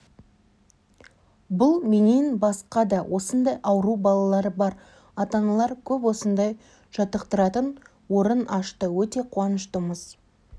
бұл менен басқа да осындай ауру балалары бар ата-аналар көп осындай жатықттыратын орын ашты өте қуанышытымыз